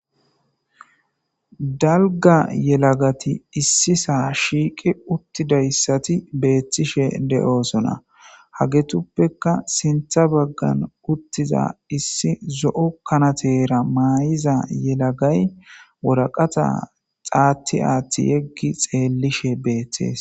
dalga yelagati issi saa shiiqi uttidayssati beethtishe de7oosona hagetuppeka sintha baggan uttiza issi zo7o kanatera maay7iza yelagay woraqata xaatti aatti yeggi xeellishe beeththees